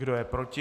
Kdo je proti?